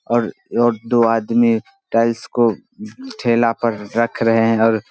और और दो आदमी टाइल्स को ठेला पर रख रहे हैं और --